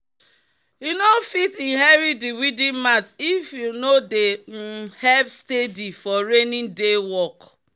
"you no fit inherit di weeding mat if you no dey um help steady for rainy day work."